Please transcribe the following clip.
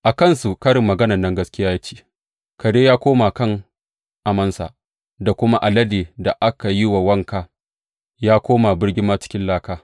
A kansu karin maganan nan gaskiya ce, Kare ya koma kan amansa, da kuma, Alade da aka yi wa wanka, ya koma birgimarsa cikin laka.